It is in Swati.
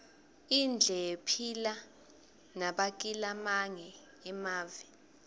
indle yephila nabakilamange emave